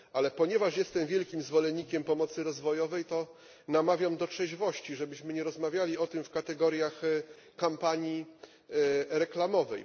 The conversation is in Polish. Ale ponieważ jestem wielkim zwolennikiem pomocy rozwojowej, to namawiam do trzeźwości, żebyśmy nie rozmawiali o tym w kategoriach kampanii reklamowej.